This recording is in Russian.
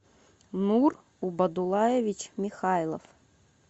нур убадулаевич михайлов